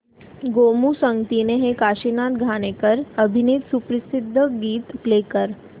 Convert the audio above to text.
गोमू संगतीने हे काशीनाथ घाणेकर अभिनीत सुप्रसिद्ध गीत प्ले कर